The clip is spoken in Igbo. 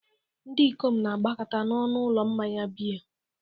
Ndị ikom na-agbakọta n'ọnụ ụlọ mmanya biya.